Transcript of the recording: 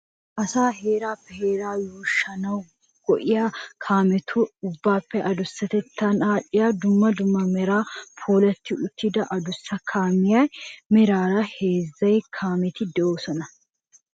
Asaa heeraappe heeraa yuushanawu go"iyaa kaametu ubbaappe adussatettan aadhdhiyaa duumma dumma meran puulatti uttida adussa kaamiyaa. Maaraara heezzu kaameti de"oosona.